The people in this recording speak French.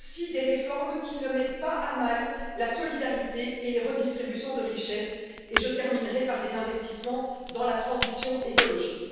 des réformes qui ne mettent pas à mal la solidarité et la redistribution des richesses, et enfin les investissements dans la transition écologique.